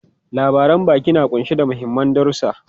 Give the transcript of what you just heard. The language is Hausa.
Labaran baki na kunshe da mahimman darusa.